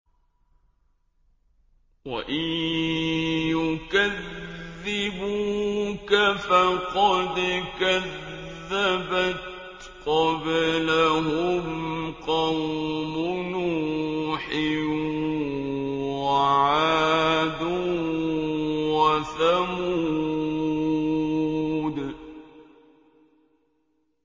وَإِن يُكَذِّبُوكَ فَقَدْ كَذَّبَتْ قَبْلَهُمْ قَوْمُ نُوحٍ وَعَادٌ وَثَمُودُ